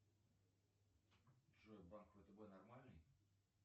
джой банк втб нормальный